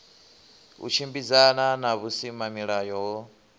u tshimbidzana na vhusimamilayo ho